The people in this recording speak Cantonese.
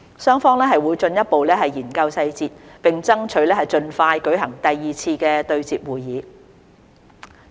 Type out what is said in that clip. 雙方會進一步研究細節，並爭取盡快舉行第二次對接會議。